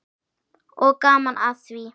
Og gaman að því.